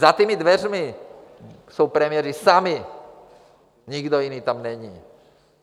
Za těmi dveřmi jsou premiéři sami, nikdo jiný tam není.